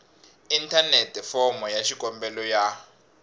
inthanete fomo ya xikombelo ya